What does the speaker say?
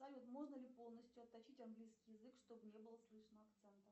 салют можно ли полностью отточить английский язык чтобы не было слышно акцента